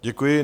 Děkuji.